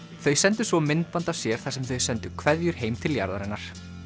þau sendu svo myndband af sér þar sem þau sendu kveðjur heim til jarðarinnar